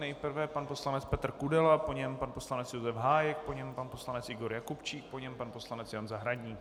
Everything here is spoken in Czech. Nejprve pan poslanec Petr Kudela, po něm pan poslanec Josef Hájek, po něm pan poslanec Igor Jakubčík, po něm pan poslanec Jan Zahradník.